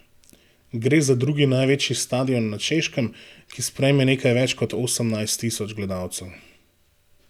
Gre za drugi največji stadion na Češkem, ki sprejme nekaj več kot osemnajst tisoč gledalcev.